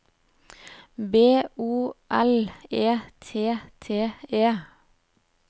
B O L E T T E